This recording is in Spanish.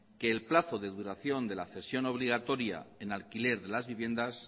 que el plazo de duración de la cesión obligatoria en alquiler de las viviendas